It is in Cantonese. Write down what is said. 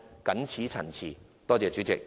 謹此陳辭，多謝代理主席。